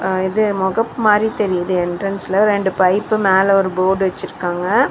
அ இது மொகப் மாரி தெரியிது என்ட்ரன்ஸ்ல ரெண்டு பைப்பு மேல ஒரு போர்டு வச்சுருக்காங்க.